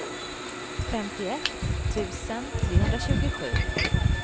femtioett tusen trehundratjugosju